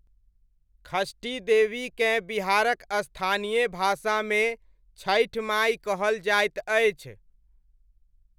षष्ठी देवीकेँ बिहारक स्थानीय भाषामे छठि माइ कहल जाइत अछि।